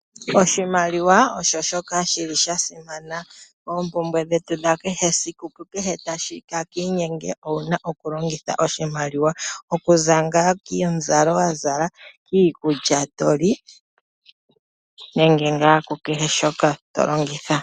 Oshimaliwa osho shoka shi li sha simana. Oompumbwe dhetu dha kehe esiku ku kehe taka inyenge ou na oku longitha oshimaliwa. Oku za ngaa komuzalo wa zala, kiikulya to li nenge ngaa ku kehe shoka to longitha.